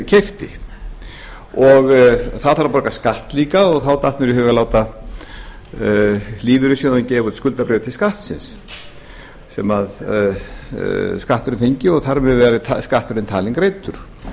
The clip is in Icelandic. það þarf líka að borga skatt og þá datt mér í hug að láta lífeyrissjóðinn gefa út skuldabréf til skattsins sem skatturinn fengi og þar með væri skatturinn talinn greiddur